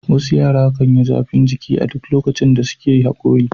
Wasu yara kan yi zafin jiki a duk lokacin da suke haƙori.